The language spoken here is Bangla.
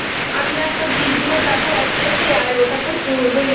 আমি আর তোর জিজুও যাব একসাথে আর ওটা তো চড়বই